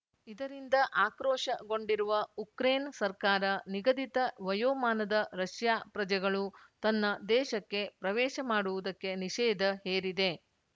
ಇದರಿಂದ ಆಕ್ರೋಶಗೊಂಡಿರುವ ಉಕ್ರೇನ್‌ ಸರ್ಕಾರ ನಿಗದಿತ ವಯೋಮಾನದ ರಷ್ಯಾ ಪ್ರಜೆಗಳು ತನ್ನ ದೇಶಕ್ಕೆ ಪ್ರವೇಶ ಮಾಡುವುದಕ್ಕೆ ನಿಷೇಧ ಹೇರಿದೆ